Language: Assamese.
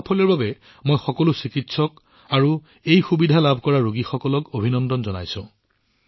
এই সাফল্যৰ বাবে মই এই সুবিধা গ্ৰহণ কৰা সকলো চিকিৎসক আৰু ৰোগীক অভিনন্দন জনাইছো